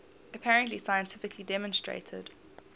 apparently scientifically demonstrated